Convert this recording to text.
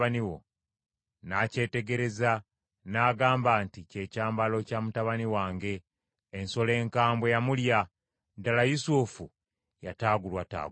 N’akyetegereza n’agamba nti, “Kye kyambalo kya mutabani wange! Ensolo enkambwe yamulya. Ddala Yusufu yataagulwataagulwa.”